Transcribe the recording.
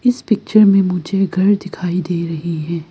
इस पिक्चर में मुझे घर दिखाई दे रही है।